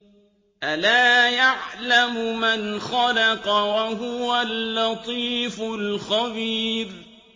أَلَا يَعْلَمُ مَنْ خَلَقَ وَهُوَ اللَّطِيفُ الْخَبِيرُ